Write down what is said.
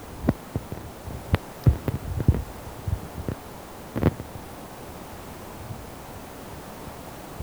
Ore papai lenye na Osilamui ore ngotonye na enkairukoni.